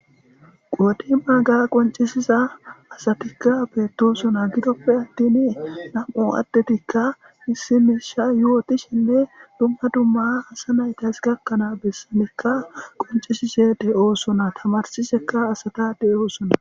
Qoodi baagaa qonccissiza asatikka beettoosona; gidoppe attiini naa7u addetikka issi miishsha yootishinne dumma dumma samaytes gakkana bes qonccissize de7oosona tamaarssissekka asaa de7oosona.